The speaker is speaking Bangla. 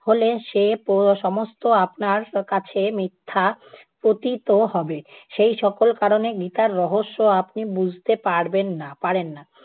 হ'লে সে প~ সমস্ত আপনার কাছে মিথ্যা পতিত হবে। সেই সকল কারণে গীতার রহস্য আপনি বুঝতে পারবেন না পারেন না।